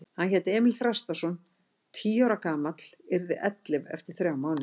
Hann hét Emil Þrastarson, tíu ára gamall, yrði ellefu eftir þrjá mánuði.